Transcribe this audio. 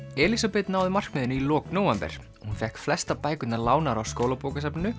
Elísabet náði markmiðinu í lok nóvember hún fékk flestar bækurnar lánaðar á